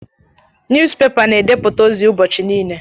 Niyuzupepa na edeputa ozi ụbọchị nile.